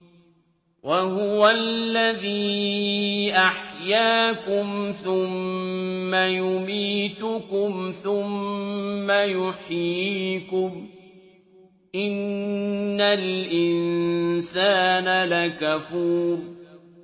وَهُوَ الَّذِي أَحْيَاكُمْ ثُمَّ يُمِيتُكُمْ ثُمَّ يُحْيِيكُمْ ۗ إِنَّ الْإِنسَانَ لَكَفُورٌ